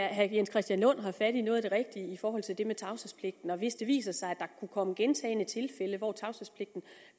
herre jens christian lund har fat i noget af det rigtige i forhold til det med tavshedspligten og hvis det viser sig at der kunne komme gentagne tilfælde hvor tavshedspligten